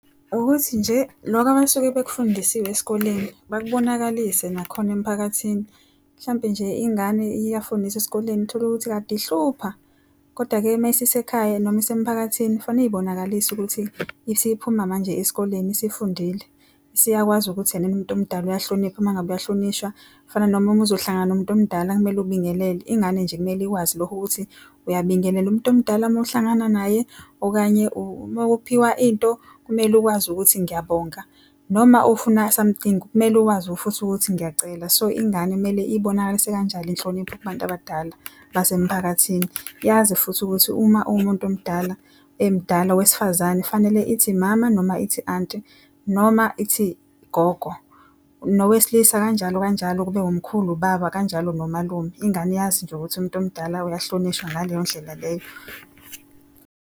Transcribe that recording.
Ukuthi nje loko abasuke bakufundisiwe esikoleni bakubonakalise nakhona emphakathini. Mhlampe nje ingane iyafundiswa esikoleni utholukuthi kade ihlupha, kodwa-ke mayisise ekhaya noma isemphakathini, kufanele iy'bonakaliso ukuthi isiphuma manje esikoleni isifundile. Isiyakwazi ukuthi enene umuntu omdala uyahlonipha uma ngabe uyahlonishwa. Kufana noma uma uzohlangana nomuntu omdala kumele ubingelele. Ingane nje kumele ikwazi lokho ukuthi uyabingelela umuntu omdala mowuhlangana naye. Okanye uma uphiwa into kumele ukwazi ukuthi ngiyabonga. Noma ufuna something kumele uwazi futhi ukuthi ngiyacela. So ingane kumele ibonakalise kanjalo inhlonipho kubantu abadala basemphakathini. Yazi futhi ukuthi uma uwumuntu omdala, emdala wesifazane fanele ithi mama noma ithi anti, noma ithi gogo. Nowesilisa kanjalo kanjalo kube wumkhulu, ubaba, kanjalo nomalume. Ingane yazi nje ukuthi umuntu omdala uyahlonishwa ngaleyo ndlela leyo.